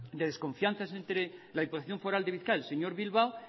de desconfianzas entre la diputación foral de bizkaia el señor bilbao